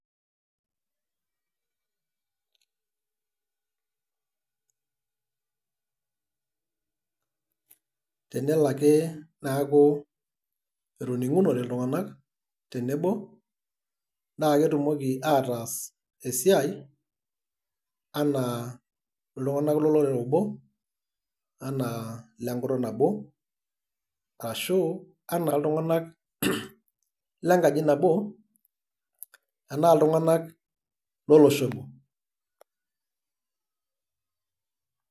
tenelo ake neeku etoning'unote iltung'anak tenebo naa ketumoki ataas esiai. anaa iltung'anak loloree obo. anaa ile nkutuk nabo, ashu anaa iltung'anak lenkaji nabo anaa iltug'anak lolosho obo.